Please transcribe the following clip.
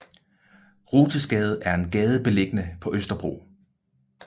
Rothesgade er en gade beliggende på Østerbro